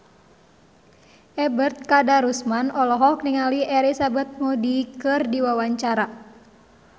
Ebet Kadarusman olohok ningali Elizabeth Moody keur diwawancara